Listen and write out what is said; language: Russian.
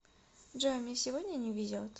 джой мне сегодня не везет